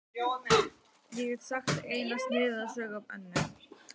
Ég get sagt eina sniðuga sögu af Önnu.